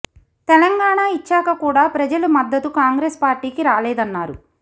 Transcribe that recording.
తెలంగాణ ఇచ్చాక కూడా ప్రజల మద్దతు కాంగ్రెస్ పార్టీ కి రాలేదన్నారు